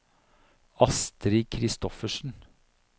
Astrid Christoffersen